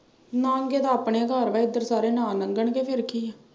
ਲਾਂਘੇ ਤਾਂ ਆਪਣੇ ਘਰ ਵਾ ਇਧਰ ਸਾਰੇ ਨਾ ਲੰਘਣਗੇ ਫਿਰ ਕੀ।